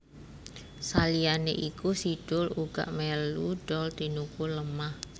Saliyané iku Si Doel uga melu dol tinuku lemah